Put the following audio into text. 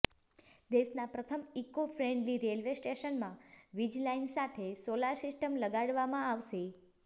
દેશના પ્રથમ eco friendly railway સ્ટેશનમાં વીજ લાઇન સાથે સોલાર સિસ્ટમ લગાડવામાં આવશે